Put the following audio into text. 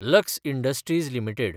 lux Industries limited